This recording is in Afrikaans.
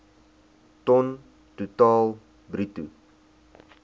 ton totaal bruto